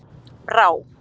Brá